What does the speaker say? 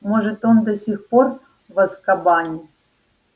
может он до сих пор в азкабане